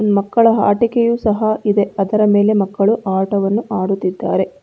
ಮಕ್ಕಳ ಆಟಿಕೆಯು ಸಹ ಇದೆ ಅದರ ಮೇಲೆ ಮಕ್ಕಳು ಆಟವಾಡುತ್ತಿದ್ದಾರೆ.